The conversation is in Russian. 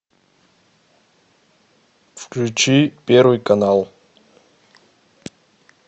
включи первый канал